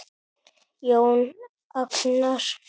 Jón Agnar?